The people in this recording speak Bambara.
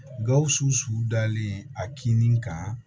Gawusu su dalen a kinin kan